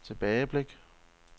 tilbageblik